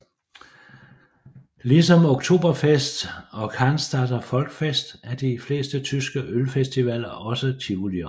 Ligesom Oktoberfest og Cannstatter Volksfest er de fleste tyske ølfestivaler også tivolier